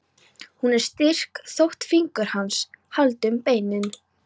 Hún er styrk þótt fingur hans haldi um beinin.